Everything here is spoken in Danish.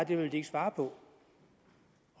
det vil de ikke svare på